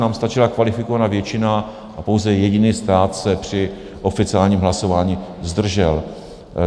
Nám stačila kvalifikovaná většina a pouze jediný stát se při oficiálním hlasování zdržel.